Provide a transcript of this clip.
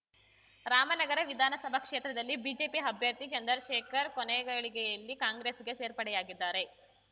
ರಾಮನಗರ ವಿಧಾನಸಭಾ ಕ್ಷೇತ್ರದಲ್ಲಿ ಬಿಜೆಪಿ ಅಭ್ಯರ್ಥಿ ಚಂದ್ರಶೇಖರ್‌ ಕೊನೆಗಳಿಗೆಯಲ್ಲಿ ಕಾಂಗ್ರೆಸ್‌ಗೆ ಸೇರ್ಪಡೆಯಾಗಿದ್ದಾರೆ